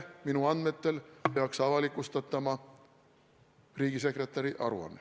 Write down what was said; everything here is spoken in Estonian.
Minu andmetel peaks homme avalikustatama riigisekretäri aruanne.